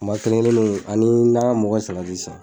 Kuma kelen kelennuw an me nakɔmɔgɔw ka salati san